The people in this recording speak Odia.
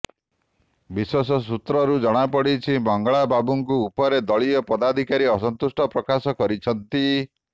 ବିଶ୍ୱସ୍ତସୂତ୍ରରୁ ଜଣା ପଡିଛି ମଙ୍ଗଳା ବାବୁଙ୍କୁ ଉପରେ ଦଳୀୟ ପଦାଧିକାରୀ ଅସନ୍ତୁଷ୍ଟ ପ୍ରକାଶ କରିଛନ୍ତି